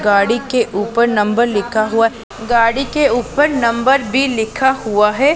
गाड़ी के ऊपर नंबर लिखा हुआ गाड़ी के ऊपर नंबर भी लिखा हुआ है।